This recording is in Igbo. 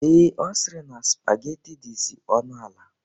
Ee, Ọ sịrị na spageti dizi ọnụ ala